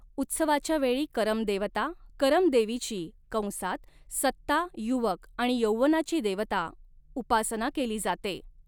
उत्सवाच्या वेळी करम देवता करमदेवीची कंसात सत्ता, युवक आणि यौवनाची देवता उपासना केली जाते.